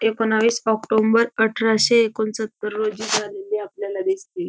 एकोणावीस ओक्टोम्बर ठराशे एकोण सत्तर रोजी झालेली आपल्याला दिसती.